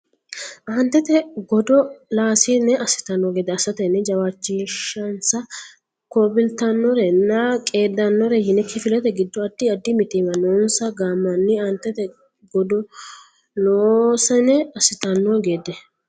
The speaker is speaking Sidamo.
Aantete godo laasine assitanno gede assatenni jawaachishinsa kolbitannorenna qeeddannore yine Kifilete giddo addi addi mitiimma noonsa gaammanni Aantete godo laasine assitanno gede.